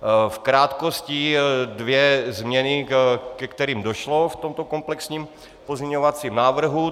V krátkosti dvě změny, ke kterým došlo v tomto komplexním pozměňovacího návrhu.